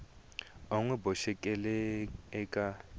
u n wi boxeke eka